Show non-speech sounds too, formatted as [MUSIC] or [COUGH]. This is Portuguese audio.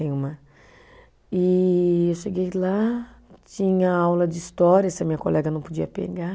[UNINTELLIGIBLE] E eu cheguei lá, tinha aula de história, essa minha colega não podia pegar,